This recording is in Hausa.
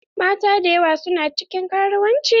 Mata dayawa su na cikin karuwanci.